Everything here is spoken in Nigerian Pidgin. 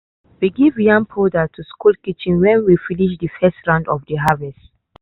we give yam powder to school kitchen when we finish de first round of de harvest.